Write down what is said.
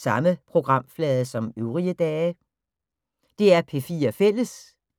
DR P4 Fælles